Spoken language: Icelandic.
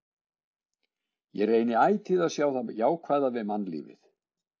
Ég reyni ætíð að sjá það jákvæða við mannlífið.